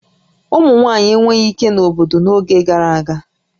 Ụmụ nwaanyị enweghị ike na obodo n'oge gara aga